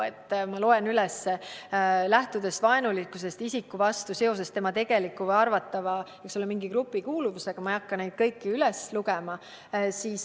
Oleme öelnud, et lähtuda tuleks vaenulikkusest isiku vastu seoses tema tegeliku või arvatava grupikuuluvusega – ma ei hakka siin kõiki neid tunnuseid üles lugema.